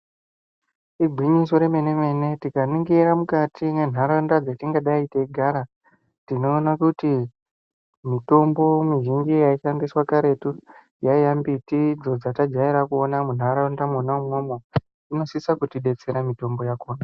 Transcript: Igwinyiso re mene mene tika ningira mukati mwe nharaunda dzetingadai teigara tinoona kuti mitombo muzhinji yai shandiswa karetu yaiya mbitidzo dzata jaira kuona mu nharaunda mwona imwomwo inosisa kuti detsera mutombo yakona.